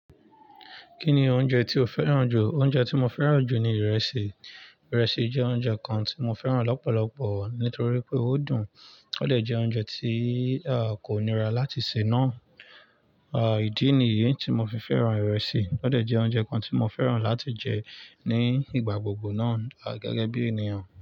Kí ni oúnjẹ tí o fẹ́ràn jù? Oúnjẹ tí mo fẹ́ràn jù ni ìrẹsì. Ìrẹsì jẹ́ oúnjẹ kan tí mo fẹ́ràn lọ́pọ̀lọpọ̀ nítorí pé ó dùn, ó dẹ̀ jẹ́ oúnjẹ tí à kò nira láti ṣè nà. À ìdí nìyí tí mo fi fẹ́ràn ìrẹsì, ó dẹ̀ jẹ́ oúnjẹ kan tí mo fẹ́ràn láti jẹ ní ìgbà gbogbo náà à gẹ́gẹ́ bí ènìyàn.